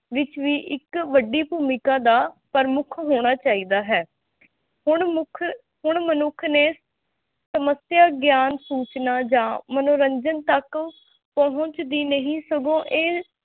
ਵਿੱਚ ਵੀ ਇੱਕ ਵੱਡੀ ਭੂਮਿਕਾ ਦਾ ਪ੍ਰਮੁੱਖ ਹੋਣਾ ਚਾਹੀਦਾ ਹੈ ਹੁਣ ਮੁੱਖ ਹੁਣ ਮਨੁੱਖ ਨੇ ਸਮੱਸਿਆ ਗਿਆਨ ਸੂਚਨਾ ਜਾਂ ਮਨੋਰੰਜਨ ਤੱਕ ਪਹੁੰਚ ਦੀ ਨਹੀਂ ਸਗੋਂ ਇਹ